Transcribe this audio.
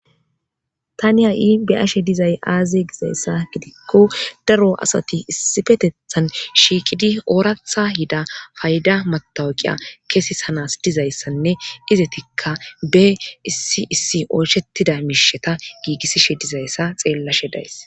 Tani ha'in be'ashe dizay aaze gizayssa gidikko daro asati issippetethan shiiqidi ooraththa yida payda matawuqqiya kesisana yidayssanne izetikka be issi oyshetiza miishata giigisishe dizayssa xeelashe days.